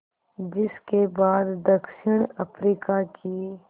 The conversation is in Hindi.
जिस के बाद दक्षिण अफ्रीका की